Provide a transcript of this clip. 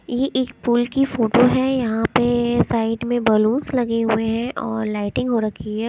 यह एक पूल की फोटो है यहाँ पर साइड में बैलून्स लगे हुए हैं और लाइटिंग हो रखी है।